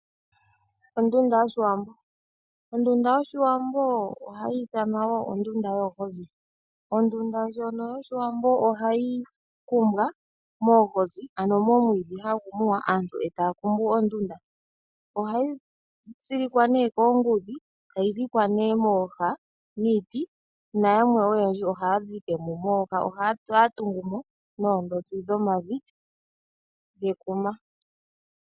Ondunda yoshiwambo ohayi ithanwa wo ondunda yoohozi. Ondunda ndjono yoshiwambo ohayi kumbwa moohozi ano momwiidhi hagu muwa aantu e taya kumbu ondunda. Ohayi tsilikwa koongudhi e tayi dhikwa mooha niiti nayamwe ohaya tungu mo noodhopi dhevi.